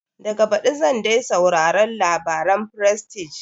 Daga baɗi zan dai sauraron labaren frestige